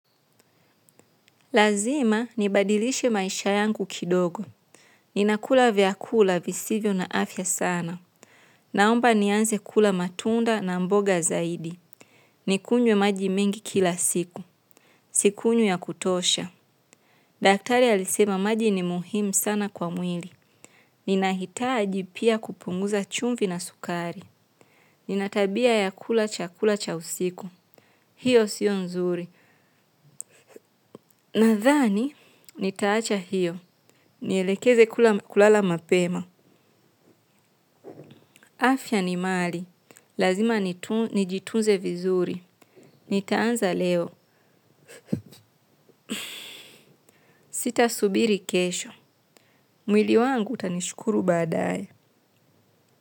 Lazima, nibadilishe maisha yangu kidogo. Ninakula vyakula visivyo na afya sana. Naomba nianze kula matunda na mboga zaidi. Nikunjwe maji mengi kila siku. Sikunjwi ya kutosha. Daktari alisema maji ni muhimu sana kwa mwili. Ninahitaji pia kupunguza chumvi na sukari. Nina tabia ya kula cha kula cha usiku. Hio sio nzuri. Nathani, nitaacha hio. Nielekeze kulala mapema. Afya ni mali. Lazima nijitunze vizuri. Nitaanza leo sitasubiri kesho. Mwili wangu utanishukuru badaye.